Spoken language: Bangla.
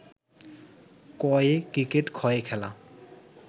ক-য়ে ক্রিকেট খ-য়ে খেলা